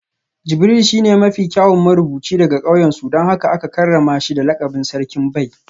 Jibril shine mafi kyawun marubuci daga kauyensu don haka aka karrama shi da lakabin Sarkin Bai